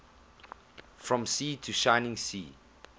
from sea to shining sea